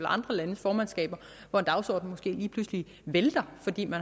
andre landes formandskaber hvor en dagsorden måske lige pludselig vælter fordi der